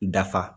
Dafa